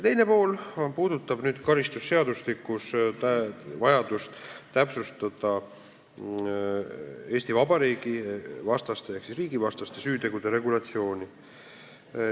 Teine pool puudutab vajadust täpsustada karistusseadustikus Eesti Vabariigi vastaste ehk riigivastaste süütegude regulatsiooni.